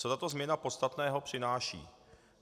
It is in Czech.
Co tato změna podstatného přináší?